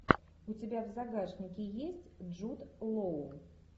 у тебя в загашнике есть джуд лоу